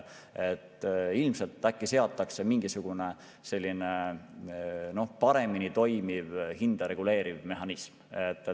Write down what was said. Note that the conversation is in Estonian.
Ilmselt seatakse mingisugune selline, noh, paremini toimiv hinda reguleeriv mehhanism.